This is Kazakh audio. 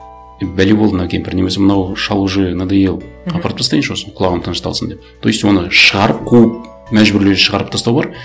е бәле болды мына кемпір немесе мынау шал уже надоел апарып тастайыншы осыны құлағым тынышталсын деп то есть оны шығарып қуып мәжбүрлеп шығарып тастау бар